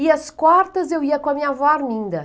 E às quartas eu ia com a minha avó Arminda.